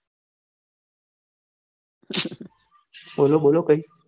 બોલો બોલો કઈ